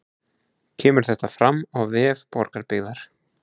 Kemur þetta fram á vef Borgarbyggðar